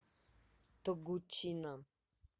тогучина